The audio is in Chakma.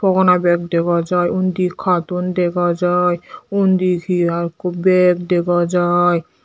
fhogona bag dega jiy undi carton dega jiy undi he ekku bag dega jiy.